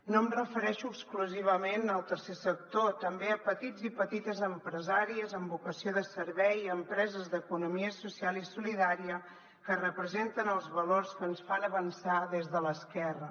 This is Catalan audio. no em refereixo exclusivament al tercer sector també a petits i petites empresàries amb vocació de servei empreses d’economia social i solidària que representen els valors que ens fan avançar des de l’esquerra